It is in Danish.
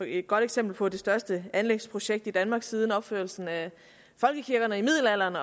et godt eksempel på det største anlægsprojekt i danmark siden opførelsen af folkekirkerne i middelalderen